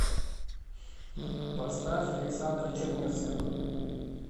поставь александра чернецкого